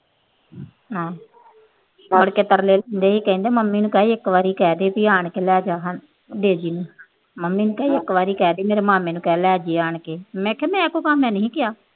ਕਹਿੰਦੀ ਮੰਮੀ ਨੂੰ ਕਹਿ ਦੇ ਆਣ ਕੇ ਲੈ ਜਾ ਇੱਕ ਵਾਰ ਡੇਜੀ ਨੂੰ। ਮੰਮੀ ਨੂੰ ਕਹਿ ਇਕ ਵਾਰੀ ਮੇਰੇ ਮਾਮੇ ਨੂੰ ਕਹਿ ਲੈ ਜੇ ਆਣ ਕੇ। ਮੈਂ ਕਿਹਾ ਮੈਂ ਕਿਉਂ ਕਿਹਾ ਮੈਂ ਨਹੀਂ ਕਿਹਾ।